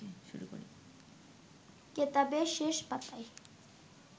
কেতাবের শেষ পাতায়